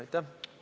Aitäh!